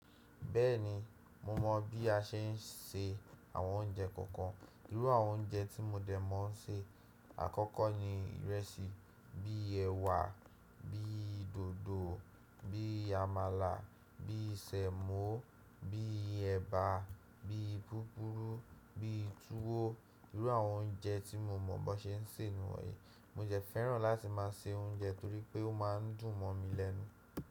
Bẹ́ẹ̀ni, mo mọ̀ bí a ṣe ń se àwọn oúnjẹ kọ̀ọ̀kan. Irú àwọn oúnjẹ tí mo dẹ̀ mọ̀ ń ṣe àkọ́kọ́ ni ìrẹsì, bí i ẹwà, bí i dòdò, bí i àmàlà, bí i sẹ̀mọ́, bí i ẹ̀bà, bí i púpùrù, bí i tuwo. Irú àwọn oúnjẹ tí mo mọ̀ bó ṣe ń ṣe nìwọ̀nyí. Mo de fẹ́ràn láti máa se oúnjẹ torí pé ó máa ń dùn mọ̀ mi lẹ́nu.